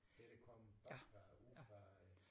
Det der kom op fra nede fra